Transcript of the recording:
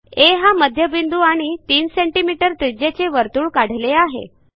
आ हा मध्यबिंदू आणि 3 सीएम त्रिज्येचे वर्तुळ काढले आहे